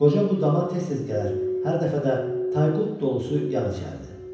Qoca bu dama tez-tez gələr, hər dəfə də tayqulp dolusu yağ içərdi.